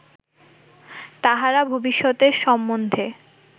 তাঁহারা ভবিষ্যতের সম্বন্ধে